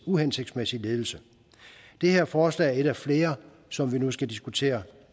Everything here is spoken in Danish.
uhensigtsmæssig ledelse det her forslag er et af flere som vi nu skal diskutere